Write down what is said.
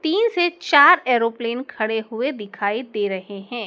तीन से चार एरोप्लेन खड़े हुए दिखाई दे रहे हैं।